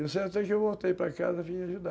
Eu sei até que eu voltei para casa e vim ajudar